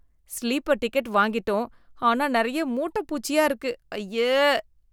Sleeper ticket வாங்கிட்டோம் ஆனா நிறைய மூட்டப்பூச்சியா இருக்கு, அய்யே.